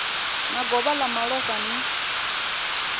na govho ḽa malofha ni